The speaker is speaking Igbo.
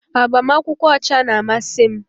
Agbamakwụkwọ ọcha na-amasị m